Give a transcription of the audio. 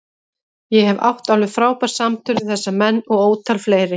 Ég hef átt alveg frábær samtöl við þessa menn og ótal fleiri.